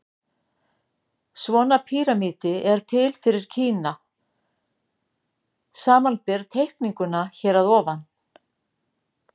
Svona píramídi er til fyrir Kína, samanber teikninguna hér að ofan.